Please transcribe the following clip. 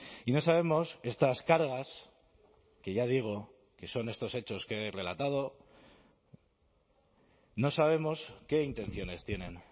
y no sabemos estas cargas que ya digo que son estos hechos que he relatado no sabemos qué intenciones tienen